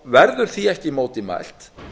verður því ekki á móti mælt